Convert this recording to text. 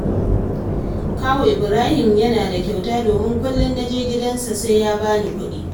Kawu Ibrahim yana da kyauta domin kullum na je gidansa sai ya ba ni kuɗi